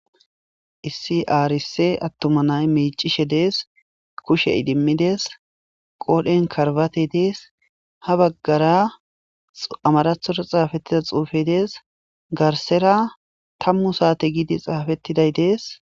Issi arise atuma nay micishe des ,kushe idimides, qodhen karsbstey des, ha bagara amarathora xafetida xuufey des.garsera 10 sate gid xafetiday des.